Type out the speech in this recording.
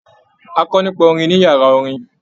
A kọ nípa orin ní yàrá orin.